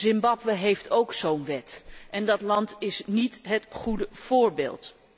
Zimbabwe heeft ook zo'n wet en dat land is niet het goede voorbeeld.